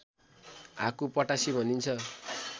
हाकु पटासी भनिन्छ